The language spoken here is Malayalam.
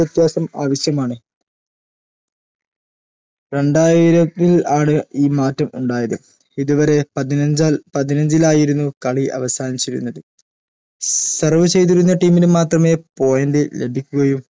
വ്യത്യാസം ആവിശ്യമാണ് രണ്ടായിരത്തിൽ ആണ് ഈ മാറ്റം ഉണ്ടായത് ഇത് വരെ പതിനഞ്ചാൾ പതിനഞ്ചിലായിരുന്നു കളി അവസാനിച്ചിരുന്നത് serve ചെയ്തിരുന്ന team നു മാത്രമേ point ലഭിക്കുകയു